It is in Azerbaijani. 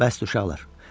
Bəsdir, uşaqlar.